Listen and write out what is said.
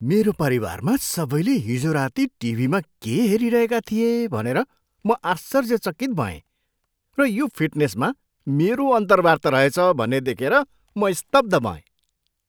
मेरो परिवारमा सबैले हिजो राति टिभीमा के हेरिरहेका थिए भनेर म आश्चर्यचकित भएँ र यो फिटनेसमा मेरो अन्तर्वार्ता रहेछ भन्ने देखेर म स्तब्ध भएँ!